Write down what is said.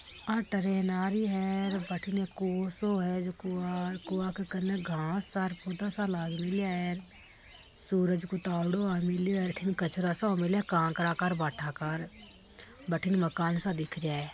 आ train आ री है बठीन कुओ सो है जो कुआ कुआ क कन्न घास और पौधा सा लाग मेलिया है सूरज को तावड़ो आ मेल्यो है अट्ठिन कचरा सा हो मेल्या है कांकरा का र भट्टा का वठिने मकान सा दिखरिया है।